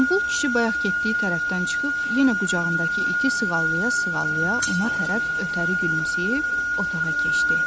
Qombul kişi bayaq getdiyi tərəfdən çıxıb yenə qucağındakı iti sığallaya-sığallaya ona tərəf ötəri gülümsəyib otağa keçdi.